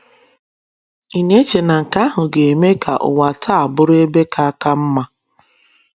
Ị̀ na - eche na nke ahụ ga - eme ka ụwa taa bụrụ ebe ka ka mma?